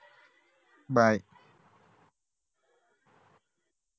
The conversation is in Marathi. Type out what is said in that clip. bye